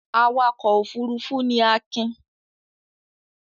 Awakọ̀ òfurufú ni Akin.